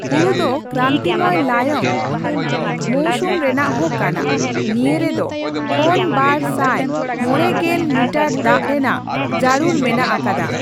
ᱦᱩᱲᱩ ᱫᱚ ᱠᱨᱟᱱᱤᱛᱤᱢᱚᱭ ᱞᱟᱭᱚᱝ ᱢᱳᱣᱥᱩᱢ ᱨᱮᱱᱟᱜ ᱦᱚ ᱠᱟᱱᱟ᱾ ᱱᱤᱭᱟᱹ ᱨᱮᱫᱚ ᱠᱷᱚᱱ ᱵᱟᱨ ᱥᱟᱭ ᱢᱚᱲᱮ ᱜᱮᱞ ᱢᱤᱴᱟᱨ ᱫᱟᱜ ᱨᱮᱱᱟᱜ ᱡᱟᱹᱨᱩᱲ ᱢᱮᱱᱟᱜ ᱟᱠᱟᱫᱟ᱾